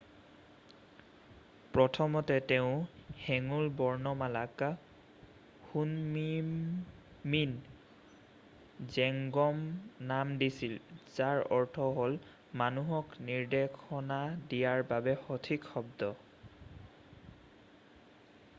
"প্ৰথমতে তেওঁ হেঙুল বৰ্ণমালাক শুনমিন জেংগুম নাম দিছিল যাৰ অৰ্থ হ'ল "মানুহক নিৰ্দেশনা দিয়াৰ বাবে সঠিক শব্দ""।""